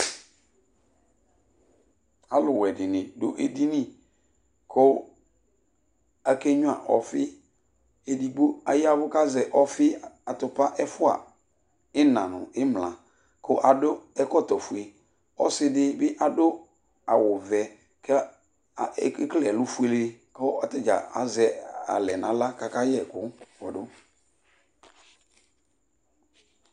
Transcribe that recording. alʊ wɛ dini du edini kʊ ake gnua ɔfï edigbo ayɛvũ kazɛ ɔfï atũpa ɛfua ïna nu ïmla ƙʊ adʊ ɛkɔtɔ fué ɔssi dibi adʊ awʊ vɛ ke a ekele ɛlu fuélé kʊ atadza azɛ alẽ nala kaka yɛkʊ kpodũ